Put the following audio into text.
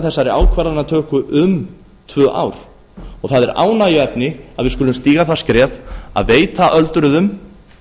þessari ákvarðanatöku um tvö ár það er ánægjuefni að við skulum stíga það skref að veita öldruðum